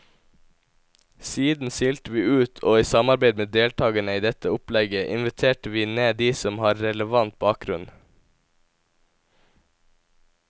Siden silte vi ut, og i samarbeid med deltagerne i dette opplegget inviterte vi ned de som har relevant bakgrunn.